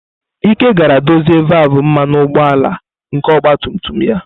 Ike gara dozie valvụ mmanụ ụgbọala nke ọgba tum tum ya.